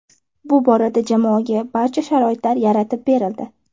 Bu borada jamoaga barcha sharoitlar yaratib berildi.